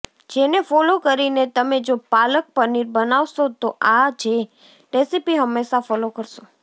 જેને ફોલો કરીને તમે જો પાલક પનીર બનાવશો તો આ જે રેસિપી હમેશાં ફોલો કરશો